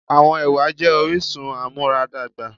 Àwọn ẹwà jé orísun amuaradagba